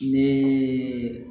Ne